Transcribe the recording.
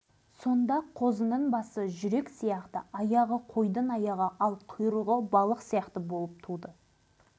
ал бойы не бары сантиметр осының бәрі мына іргеміздегі семей полигонының кесірінен деп ойлаймыз тіпті үйдегі